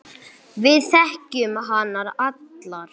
Við þekkjum hana allar.